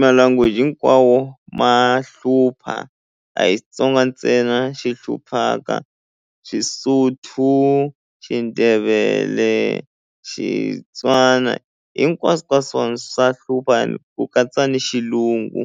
ma language hinkwawo ma hlupha a hi Xitsonga ntsena xi hluphaka Xisotho ku Xindebele Xitswana hinkwaswo ka swona swa hlupha ni ku katsa ni xilungu.